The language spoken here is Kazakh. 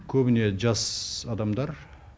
көбіне жас адамдар